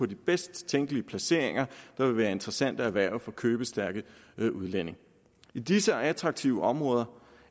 de bedst tænkelige placeringer der vil være interessante at erhverve for købestærke udlændinge i disse attraktive områder